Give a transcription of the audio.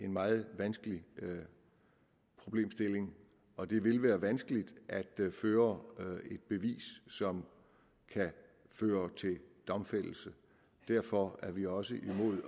meget vanskelig problemstilling og det vil være vanskeligt at føre et bevis som kan føre til domfældelse derfor er vi også imod